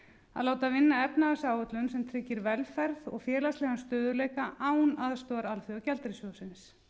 að láta vinna efnahagsáætlun sem tryggir velferð og félagslegan stöðugleika án aðstoðar alþjóðagjaldeyrissjóðsins